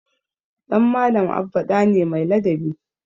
Ɗan Malam Abba ɗa ne mai ladabi.